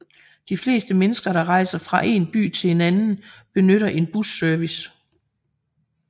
De fleste mennesker der rejser fra en by til en anden benytter en busservice